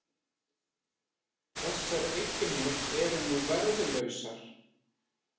Þessar eignir eru nú verðlausar